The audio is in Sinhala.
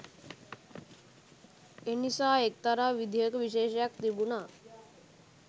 එනිසා එක්තරා විදිහක විශේෂයක් තිබුණා